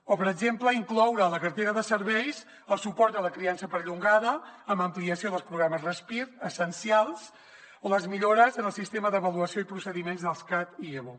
o per exemple incloure a la cartera de serveis el suport a la criança perllongada amb ampliació dels programes respir essencials o les millores en el sistema d’avaluació i procediments dels cad i evo